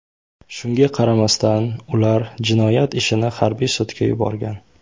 Shunga qaramasdan, ular jinoyat ishini harbiy sudga yuborgan.